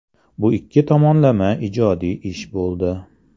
Bu ikki tomonlama ijodiy ish bo‘ldi.